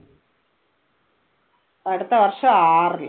അടുത്ത വർഷം ആറില്.